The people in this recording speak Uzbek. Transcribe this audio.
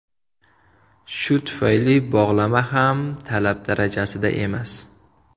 Shu tufayli bog‘lama ham talab darajasida emas.